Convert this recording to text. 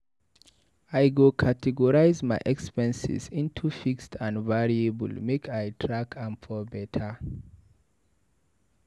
I go categorize my expenses into fixed and variable make I for track am beta.